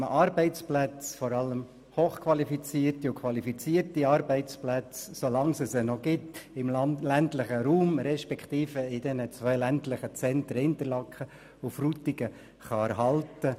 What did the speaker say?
Im ländlichen Raum respektive in den beiden Zentren Frutigen und Interlaken sollen vor allem qualifizierte und hochqualifizierte Arbeitsplätze erhalten bleiben, solange es diese Stellen noch gibt.